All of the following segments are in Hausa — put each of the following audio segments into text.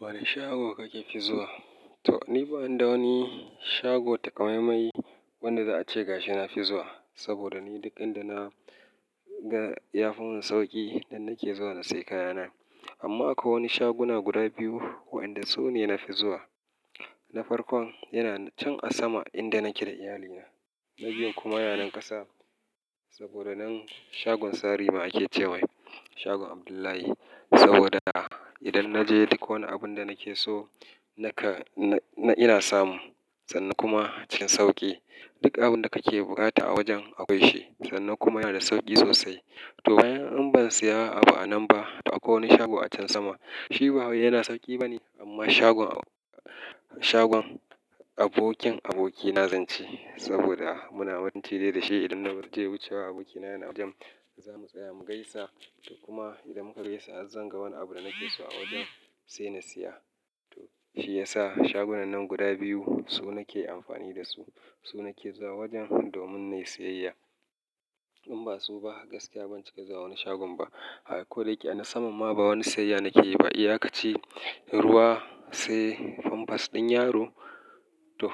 Wane shago kake fi zuwa? To, ni ba ina da wani shago taƙamaimai wanda za a ce gashi na fi zuwa. Saboda ni duk inda na ga ya fi mun sauƙi nan nake zuwa na sayi kayana. Amma akwai wani shaguna guda biyu waɗanda su ne na fi zuwa. Na farkon yana can a sama inda nake da iyalina. Na biyun kuma yana nan ƙasa saboda nan shagon sari ma ake cewa mai shagon Abdullahi. Saboda idan na je duk wani abun da nake so na ka, na ina samu sannan kuma cikin sauƙi. Duk abun da kake buƙata a wajen akwai shi sannan kuma yana da sauƙi sosai. To bayan in ban siya abu anan ba to akwai wani shago a can sama shi ba wai yana sauƙi bane. Amma shagon, shagon abokin abokina zan ce saboda muna wani tire da shi. Idan na je wucewa abokina yana a wajen zamu tsaya mu gaisa. To kuma idan muka gaisa zan ga wani abu da nake so a wajen sai na siya. To shi ya sa shagunan nan guda biyu su nake amfani da su, su nake zuwa wajen domin na yi siyayya. In ba su ba gaskiya ban cika zuwa wani shagon ba. Ai ko da yake a na saman ma ba wani siyayya nake yi ba. Iya kaci ruwa sai famfas ɗin yaro. To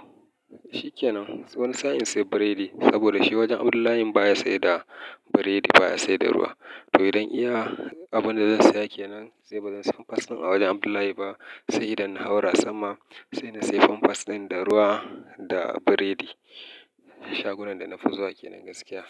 shi ke nan wani sa'in sai biredi saboda shi wajen Abdullahi baya saida biredi baya saida ruwa. To idan iya abun da zan saya kenan sai bazan siya famfas ɗin a wajen Abdullahi ba sai idan na haura sama sai na siya famfas ɗin da ruwa da biredi. Shagunan da na fi zuwa ke nan gaskiya.